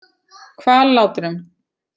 Hvallátrum